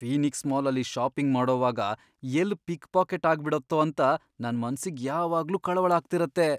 Phoenix ಮಾಲಲ್ಲಿ shopping ಮಾಡೋವಾಗ ಎಲ್ಲ್ ಪಿಕ್ ಪಾಕೆಟ್ ಆಗ್ಬಿಡತ್ತೋ ಅಂತ ನನ್ ಮನ್ಸಿಗ್ ಯಾವಾಗ್ಲೂ ಕಳವಳ ಆಗ್ತಿರತ್ತೆ.